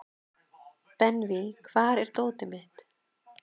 Benvý, hvar er dótið mitt?